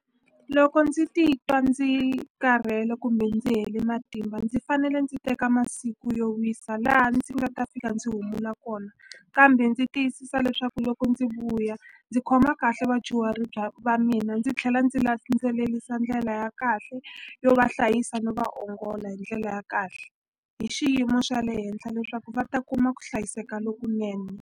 Loko ndzi titwa ndzi karhele kumbe ndzi hele matimba ndzi fanele ndzi teka masiku yo wisa laha ndzi nga ta fika ndzi humula kona kambe ndzi tiyisisa leswaku loko ndzi vuya ndzi khoma kahle vadyuhari bya va mina ndzi tlhela ndzi landzelelisa ndlela ya kahle yo va hlayisa no va ongola hi ndlela ya kahle hi xiyimo xa le henhla leswaku va ta kuma ku hlayiseka lokunene.